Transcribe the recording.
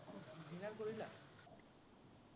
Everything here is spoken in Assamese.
dinner কৰিলা?